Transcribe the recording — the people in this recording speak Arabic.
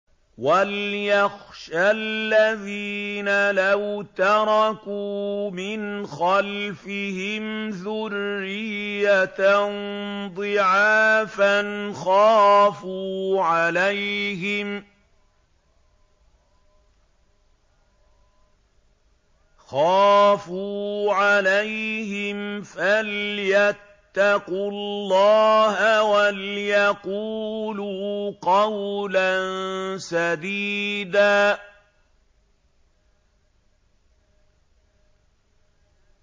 وَلْيَخْشَ الَّذِينَ لَوْ تَرَكُوا مِنْ خَلْفِهِمْ ذُرِّيَّةً ضِعَافًا خَافُوا عَلَيْهِمْ فَلْيَتَّقُوا اللَّهَ وَلْيَقُولُوا قَوْلًا سَدِيدًا